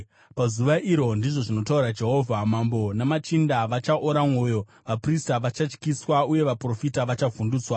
“Pazuva iro,” ndizvo zvinotaura Jehovha, “mambo namachinda vachaora mwoyo, vaprista vachatyiswa, uye vaprofita vachavhundutswa.”